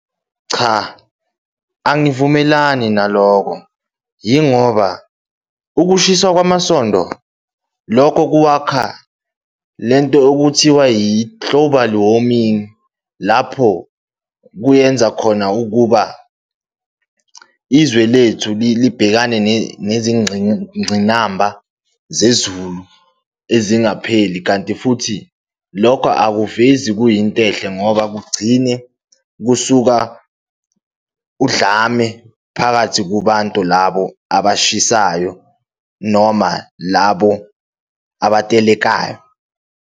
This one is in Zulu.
Cha, angivumelani naloko, yingoba ukushiswa kwamasondo, lokho kwakha lento okuthiwa i-global warming, lapho kuyenza khona ukuba izwe lethu libhekane nezingqinamba zezulu ezingapheli. Kanti futhi lokho awuvezi kuyinto enhle ngoba kugcishe kusuka udlame phakathi kubantu labo abashisayo noma labo abatelelayo.